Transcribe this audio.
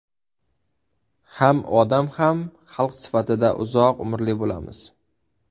Ham odam ham xalq sifatida uzoq umrli bo‘lamiz!